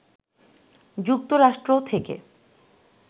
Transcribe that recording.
যুক্তরাষ্ট্র থেকে